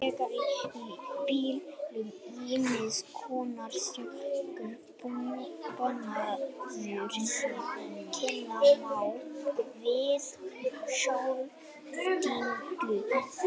Nú þegar er í bílum ýmiss konar sjálfvirkur búnaður sem kenna má við sjálfstýringu.